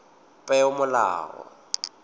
peomolao